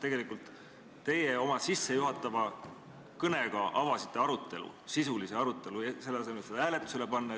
Tegelikult teie oma sissejuhatava kõnega avasite sisulise arutelu, selle asemel et ettepanek hääletusele panna.